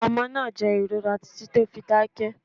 Omo naa jẹ ìrora titi to fi dákẹ́